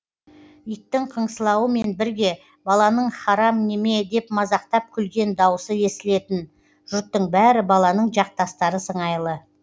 иттің қыңсылауымен бірге баланың харам неме деп мазақтап күлген даусы естілетін жұрттың бәрі баланың жақтастары сыңайлы